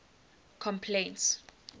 complaints